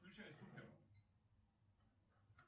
включай супер